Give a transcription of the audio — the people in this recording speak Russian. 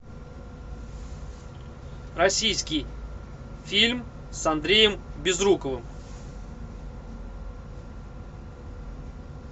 российский фильм с андреем безруковым